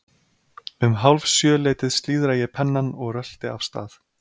Um hálf sjö leytið slíðra ég pennann og rölti af stað.